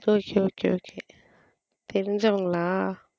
okay okay okay தெரிஞ்சவங்களா.